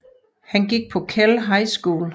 Han gik på Kell High School